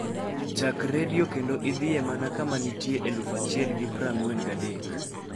chak redio kendo idhie mana kama nitie eluf achiel gi praangwe gi adek